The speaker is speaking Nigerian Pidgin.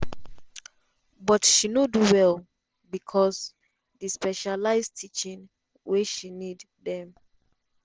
but she no do well becos di specialised teaching wey she need dem